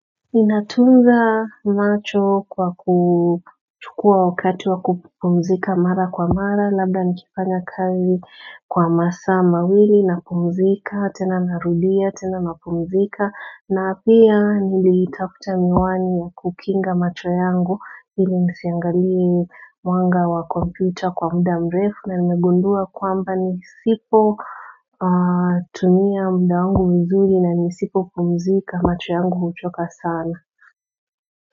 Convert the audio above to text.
Inatunza macho kwa kukua wakati wa kupumzika mara kwa mara, labda nikifanya kazi kwa masa mawili na mpumzika, tena narudia, tena napumzika na pia nili itakuta miwani ya kukinga macho yangu hili nisiangali mwanga wa computer kwa muda mrefu na nimegundua kwamba nisipo tumia muda wangu mzuli na nisipopumzika macho yangu huchoka sana.